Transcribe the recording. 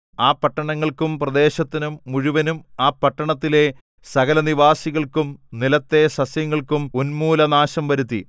ആ പട്ടണങ്ങൾക്കും പ്രദേശത്തിനു മുഴുവനും ആ പട്ടണങ്ങളിലെ സകലനിവാസികൾക്കും നിലത്തെ സസ്യങ്ങൾക്കും ഉന്മൂലനാശം വരുത്തി